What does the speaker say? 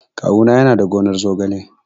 Kawu na yana da gonar zogale.